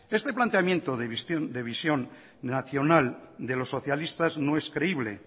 este planteamiento de visión nacional de los socialistas no es creíble